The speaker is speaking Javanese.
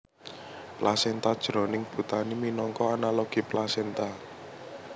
Plasenta jroning botani minangka analogi plasenta